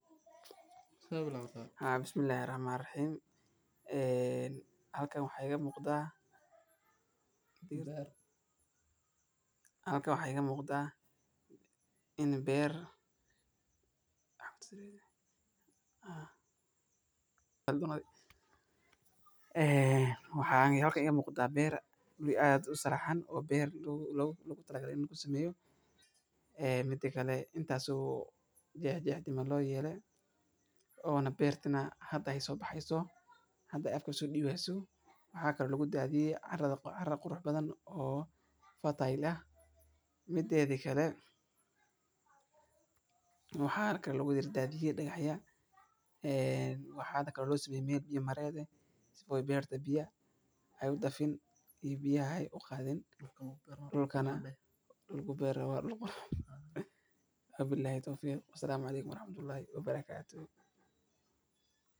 Beritanka oo gedaha la beerto waxey aad iyo aad muhim uu tahay oo u fican tahay waxay helayaan fursad ay ku bartaan fikrado cusub, sidoo kale waxay tababaranayaan sida loo fahmo loona dabaqo macluumaadka cusub. Waxaa intaa dheer, in qofku ka qayb qaato casharrada waxay kobcisaa kalsoonida iyo kartida hogaamineed maadaama ay bartaan inay fikirkooda soo bandhigaan oo ay su’aalo weydiiyaan. Hawshan sidoo